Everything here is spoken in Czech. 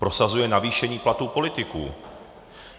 Prosazuje navýšení platů politiků.